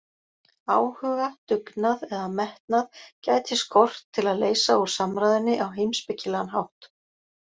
Áhuga, dugnað eða metnað gæti skort til að leysa úr samræðunni á heimspekilegan hátt.